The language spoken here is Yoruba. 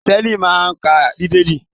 Kírísítẹ́nì máa n ka Bíbélì.